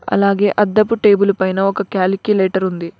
అలాగే అద్దపు టేబులు పైన ఒక క్యాలిక్యులేటర్ ఉంది.